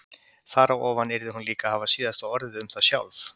Þar á ofan yrði hún líka að hafa síðasta orðið um það sjálf.